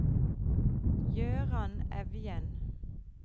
Gøran Evjen